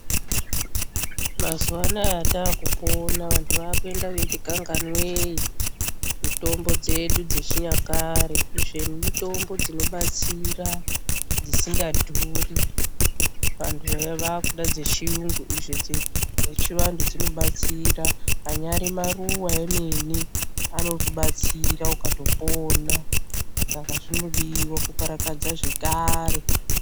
Mazuva anaya atakupona vantu wakuenda weitikanganwei, mitombo dzedu dzechinyakare. Izveni mitombo dzinobatsira, dzisingadhuri. Vantu waya wakuda dzechiyungu, izvo dzechivanhu dzinobatsira. Anyari maruva emene anokubatsira ukatopona saka zvinodiwa kukarakadza zvekare.